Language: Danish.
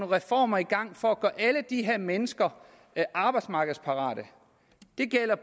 reformer i gang for at mennesker arbejdsmarkedsparate det gælder